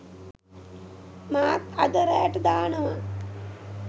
මාත් අද රෑට දානවා